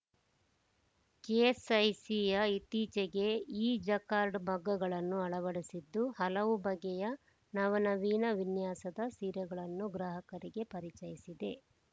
ಕೆಎಸ್‌ಐಸಿಯ ಇತ್ತೀಚೆಗೆ ಇಜಕಾರ್ಡ್‌ ಮಗ್ಗಗಳನ್ನು ಅಳವಡಿಸಿದ್ದು ಹಲವು ಬಗೆಯ ನವನವೀನ ವಿನ್ಯಾಸದ ಸೀರೆಗಳನ್ನು ಗ್ರಾಹಕರಿಗೆ ಪರಿಚಯಿಸಿದೆ